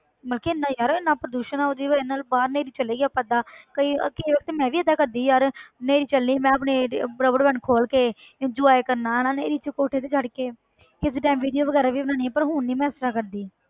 ਮਤਲਬ ਕਿ ਇੰਨਾ ਯਾਰ ਇੰਨਾ ਪ੍ਰਦੂਸ਼ਣ ਆਂ ਉਹਦੀ ਵਜ੍ਹਾ ਨਾਲ ਬਾਹਰ ਨੇਰੀ ਚੱਲ ਰਹੀ ਆਪਾਂ ਏਦਾਂ ਕਈ ਕਈ ਵਾਰ ਤਾਂ ਮੈਂ ਵੀ ਏਦਾਂ ਕਰਦੀ ਯਾਰ ਨੇਰੀ ਚੱਲੀ ਮੈਂ ਆਪਣੇ ਇਹ rubber band ਖੋਲ ਕੇ enjoy ਕਰਨਾ ਹਨਾ ਨੇਰੀ 'ਚ ਕੋਠੇ ਤੇ ਚੜ੍ਹ ਕੇ ਕਿਸੇ time video ਵਗ਼ੈਰਾ ਵੀ ਬਣਾਉਂਦੀ ਹਾਂ ਪਰ ਹੁਣ ਨੀ ਮੈਂ ਇਸ ਤਰ੍ਹਾਂ ਕਰਦੀ।